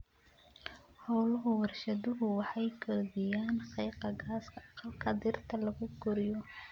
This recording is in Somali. Hawlaha warshaduhu waxay kordhiyaan qiiqa gaaska aqalka dhirta lagu koriyo.